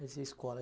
Mas e a escola?